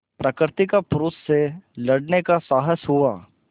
प्रकृति का पुरुष से लड़ने का साहस हुआ